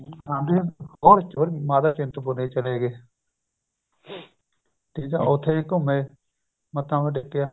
ਮਾਤਾ ਚਿੰਤਪੁਰਣੀ ਚਲੇ ਗਏ ਠੀਕ ਏ ਉਥੇ ਵੀ ਘੁੱਮੇ ਮੱਥਾ ਟੇਕਿਆ